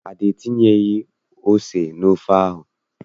Ada entinyeghị ose n'ofe ahụ.